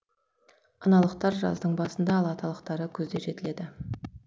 аналықтар жаздың басында ал аталықтары күзде жетіледі